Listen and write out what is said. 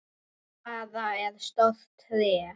Gulfura er stórt tré.